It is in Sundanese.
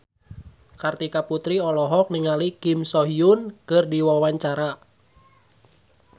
Kartika Putri olohok ningali Kim So Hyun keur diwawancara